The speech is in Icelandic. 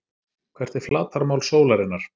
Hvert er flatarmál sólarinnar?